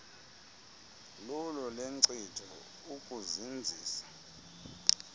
lulo lenkcitho ukuzinzisa